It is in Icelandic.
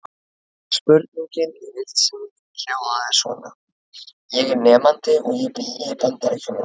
Spurningin í heild sinni hljóðaði svona: Ég er nemandi og ég bý í Bandaríkjum.